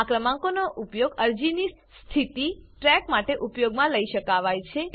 આ ક્રમાંકનો ઉપયોગ અરજીની સ્થિતિ ટ્રેક માટે ઉપયોગમાં લઇ શકાવાય છે